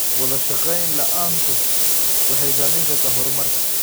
Wadashaqeyn la'aantu waxay saameyn kartaa horumarka.